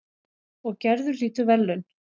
Og Gerður hlýtur verðlaun.